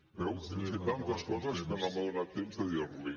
veus hem fet tantes coses que no m’ha donat temps de dir les hi